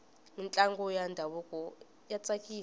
mintlangu ya ndhavuko ya tsakisa